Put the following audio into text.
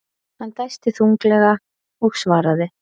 Hann dæsti þunglega og svaraði.